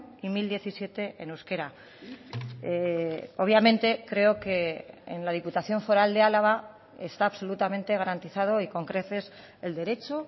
y mil diecisiete en euskera obviamente creo que en la diputación foral de álava está absolutamente garantizado y con creces el derecho